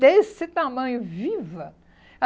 Desse tamanho, viva!